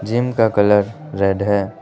Gym का colour red है।